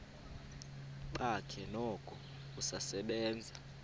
bakhe noko usasebenza